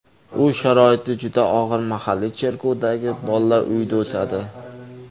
U sharoiti juda og‘ir mahalliy cherkovdagi bolalar uyida o‘sadi.